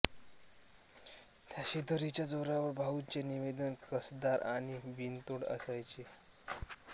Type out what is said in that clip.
त्या शिदोरीच्या जोरावर भाऊंचे निवेदन कसदार आणि बिनतोड असायचे